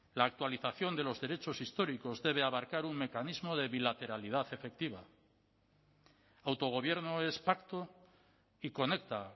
la actualización de los derechos históricos debe abarcar un mecanismo de bilateralidad efectiva autogobierno es pacto y conecta